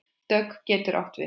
Dögg getur átt við